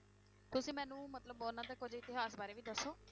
ਤੁਸੀਂ ਮੈਨੂੰ ਮਤਲਬ ਉਹਨਾਂ ਦੇ ਕੁੱਝ ਇਤਿਹਾਸ ਬਾਰੇ ਵੀ ਦੱਸੋ।